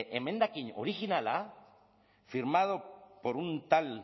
emendakin originala firmado por un tal